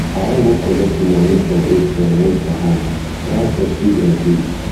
i wan go collect moni go collect moni from atm hold for hand transport fit increase